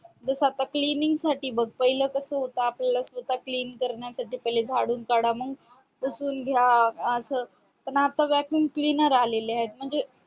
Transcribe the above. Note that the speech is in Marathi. जस आता cleaning साठी बघ पहिले कस होत आपल्याला पहिले स्वतः clean करण्यासाठी आधी झाडून काढा मग पुसून घ्या स पण आता vacuum cleaner आलेले आहेत म्हणजे